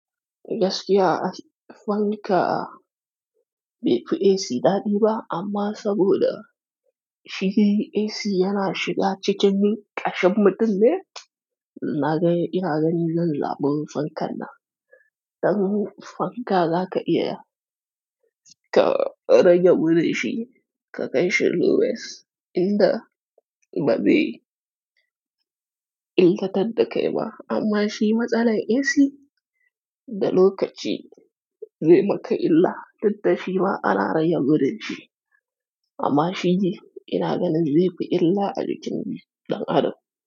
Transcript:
Gaskiya a fanka bai fi AC daɗi ba, amma saboda shi AC yana shiga cikin ƙashin mutum ne, na ga ina gani zan zaba fankan nan. Dan fanka zaka iya ka rage gudun shi ka kai shi lowest inda ba zai inkatar da kai ba. Amma shi matsalar AC da lokaci zai maka illa, duk da shi ma ana rage gudun shi, amma shi dai ina ganin zai fi illa a jikin dan adam.